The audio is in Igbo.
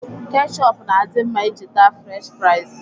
Kechọp na-adị mma iji taa Frech fraịz.